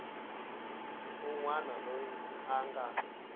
un wana loyi a nga